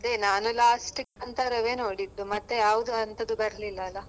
ಹಾ ನಾನು last ಕಾಂತರವೇ ನೋಡಿದ್ದು, ಮತ್ತೆ ಯಾವ್ದು ಅಂತದ್ದು ಬರ್ಲಿಲ್ಲ ಅಲ.